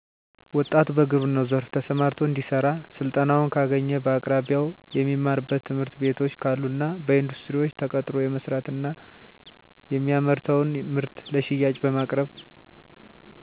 ወጣቱ በግብረናው ዘርፋ ተሰማርቶ እንዲሰራ ስልጠናውን ካገኘ በአቅራቢያው የሚማርበት ትምህርትቤቶች ካሉና በኢንዱስትሪዎች ተቀጥሮ የመስራት እና የሚያመርተውን ምርት ለሽያጭ በማቅረብ